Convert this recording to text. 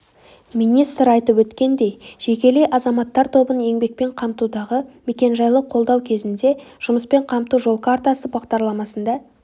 министр айтып өткендей жекелей азаматтар тобын еңбекпен қамтудағы мекенжайлық қолдау кезінде жұмыспен қамту жол картасы бағдарламасында